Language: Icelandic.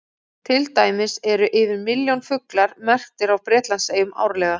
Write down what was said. Til dæmis eru yfir milljón fuglar merktir á Bretlandseyjum árlega.